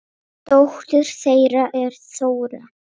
Dóttir þeirra er Þóra.